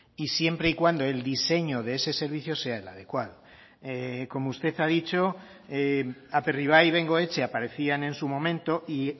y siempre y cuando el diseño de ese servicio sea el adecuado como usted ha dicho aperribai y bengoetxe aparecían en su momento y